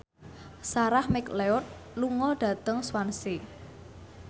Sarah McLeod lunga dhateng Swansea